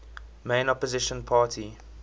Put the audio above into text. main opposition party